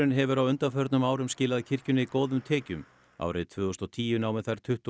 hefur á undanförnum árum skilað kirkjunni góðum tekjum árið tvö þúsund og tíu námu þær tuttugu